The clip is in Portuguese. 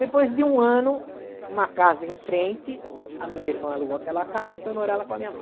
Depois de um ano, uma casa em frente, a minha irmã alugou aquela casa e foi morar lá com a minha mãe.